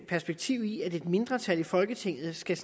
perspektiv i at et mindretal i folketinget skal